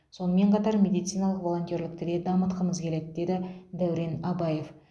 сонымен қатар медициналық волонтерлікті де дамытқымыз келеді деді дәурен абаев